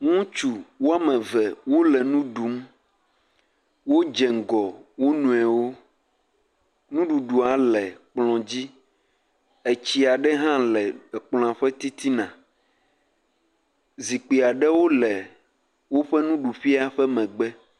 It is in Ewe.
ŋutsu woameve wóle ŋuɖum wó dze ŋgɔ wonoewo ŋuɖuɖua le kplɔ̃ dzi etsia ɖe hã le kplɔa ƒe titina zikpiaɖewo le wóƒe nuɖuƒɛa ƒe megbe